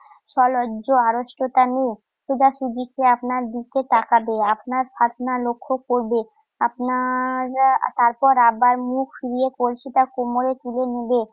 সলজ্জ আড়ষ্টতা নিয়ে। সোজাসুজি সে আপনার দিকে তাকাবে। আপনার ফাতনা লক্ষ্য করবে। আপনার তারপর বার মুখ ফিরিয়ে কলসিটা কোমরে তুলে নিবে।